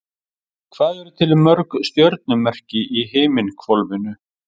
Hvað eru til mörg stjörnumerki í himinhvolfinu?